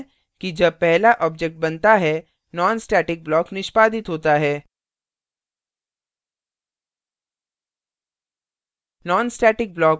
हम देख सकते हैं कि जब पहला object बनता है nonstatic block निष्पादित होता है